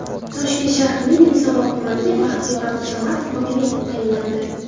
Toshkent shahrining Yunusobod tumaniga Baxtiyor Abdusamatov hokim etib tayinlandi.